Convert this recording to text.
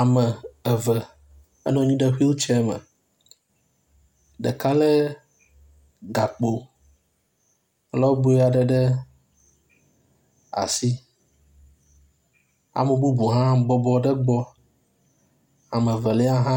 Ame eve enɔnyi ɖe wheelchair me ɖeka le gakpo lɔboeaɖe ɖe asi ame bubu hã bɔbɔ ɖe gbɔ amevelia hã